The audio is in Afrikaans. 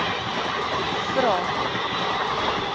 vvvvrae